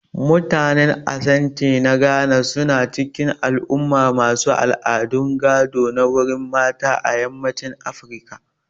Mutanen Asante na Ghana su na cikin al'umma masu al'adu gado ta wurin mata a yammacin Afirka